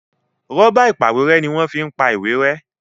Rọ́bà ìpàwérẹ́ ní wón fí ń pá ìwé rẹ́